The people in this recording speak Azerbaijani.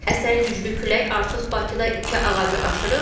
Əsən güclü külək artıq Bakıda iki ağacı aşırıb.